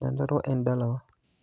Nyandarua en dalawa.